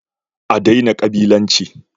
A daina kabilanci!